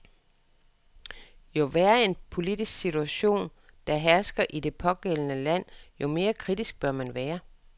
Jo værre en politisk situation, der hersker i det pågældende land, jo mere kritisk bør man være.